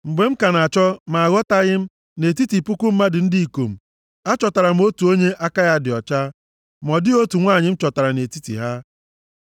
Mgbe m ka na-achọ ma achọtaghị m, nʼetiti puku mmadụ ndị ikom, achọtara m otu onye aka ya dị ọcha, ma ọ dịghị otu nwanyị m chọtara nʼetiti ha.